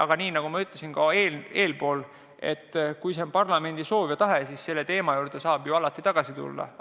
Aga nagu ma enne juba ütlesin, kui see on parlamendi soov ja tahe, siis selle teema juurde saab alati tagasi tulla.